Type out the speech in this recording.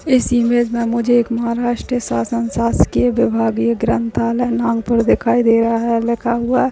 इस इमेज में मुझे एक महाराष्ट्र शासन शासकीय विभागीय ग्रंथालय नागपुर दिखाई दे रहा है लिखा हुआ।